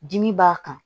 Dimi b'a kan